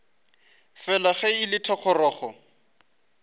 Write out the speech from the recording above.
fela ge e le thogorogo